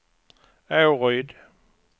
Åryd